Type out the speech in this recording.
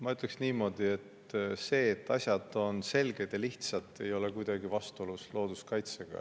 Ma ütleksin niimoodi, et see, et asjad on selged ja lihtsad, ei ole kuidagi vastuolus looduskaitsega.